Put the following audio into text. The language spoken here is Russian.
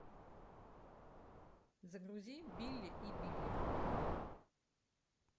загрузи билли и билли